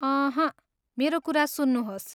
अहँ, मेरो कुरा सुन्नुहोस्।